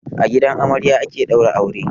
A gidan amarya ake daura aure.